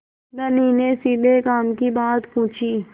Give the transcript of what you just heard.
धनी ने सीधे काम की बात पूछी